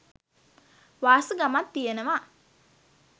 වාසගමත් තියෙනවා.